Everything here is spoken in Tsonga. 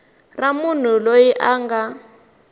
ra munhu loyi a nga